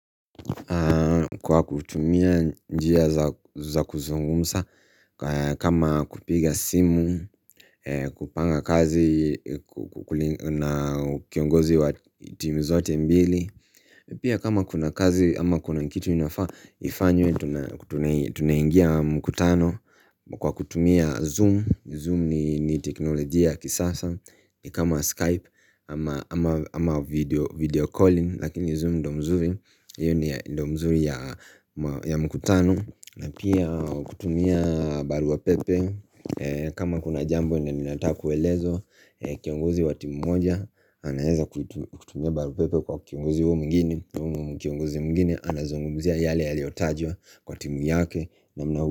Kwa kutumia njia za kuzungumza kama kupiga simu kupanga kazi na kiongozi wa timu zote mbili Pia kama kuna kazi ama kuna kitu inafaa ifanywe tuna Tunaingia mkutano Kwa kutumia zoom, Zoom ni teknolojia kisasa kama Skype ama video calling Lakini zoom ndio mzuri hio ni ndio mzuri ya mkutano na pia kutumia barua pepe kama kuna jambo lenye linataka kuelezwa Kiongozi wa timu moja anaeza kutumia barua pepe kwa kiongozi huyo mwingine na huyu Kiongozi mwingine anazungumzia yale yaliotajwa kwa timu yake.